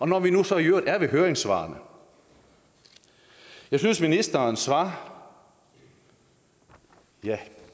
når vi nu så i øvrigt er ved høringssvarene jeg synes at ministerens svar er ja